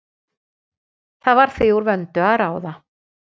Það var því úr vöndu að ráða.